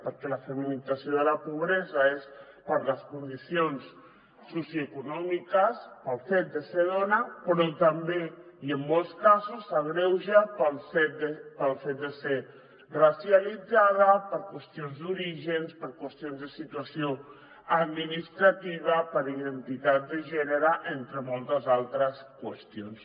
perquè la feminització de la pobresa és per les condicions socioeco·nòmiques pel fet de ser dona però també i en molts casos s’agreuja pel fet de ser racialitzada per qüestions d’orígens per qüestions de situació administrativa per identitat de gènere entre moltes altres qüestions